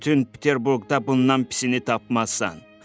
Bütün Peterburqda bundan pisini tapmazsan.